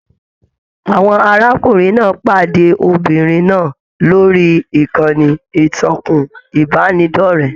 Àwọn arákùnrin náà pàdé Obìnrin náà lórí ìkànnì ìtàkùn ìbánidọ̀rẹ̀.